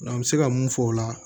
an bɛ se ka mun fɔ o la